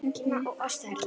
Kína og Ástralíu.